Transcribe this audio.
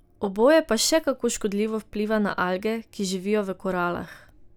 Oboje pa še kako škodljivo vpliva na alge, ki živijo v koralah.